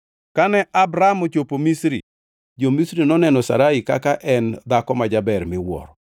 Kane Abram ochopo Misri, jo-Misri noneno Sarai kaka ne en dhako ma jaber miwuoro.